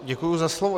Děkuji za slovo.